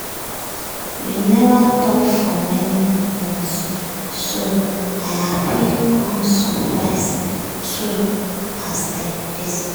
we neva talk for many month so i happy com surprise too as dem visit.